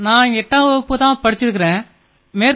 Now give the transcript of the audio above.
நான் 8ஆம் வகுப்பு வரை படித்திருக்கிறேன்